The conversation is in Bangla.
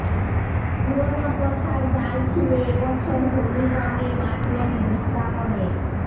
পুরনো প্রথার জাল ছিঁড়ে এবছর হোলির রঙে মাতলেন বৃন্দাবনের